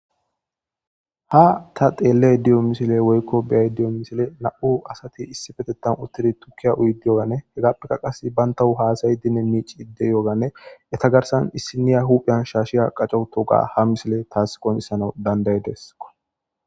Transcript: ha ta xeelley diyo misile woykko beyay diyo misile na7u asati issi fetettan uttidi tukkiya uyidi yoganne hegappeka qas bayntahu haasayi dine miici idde yooganne eta garsan issiniya huphiyan shaashiya qacco toga ha misile taas qomissana danday deessqo